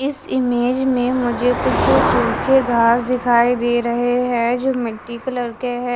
इस इमेज में मुझे कुछ सूखे घास दिखाई दे रहे हैं जो मिट्टी कलर के हैं।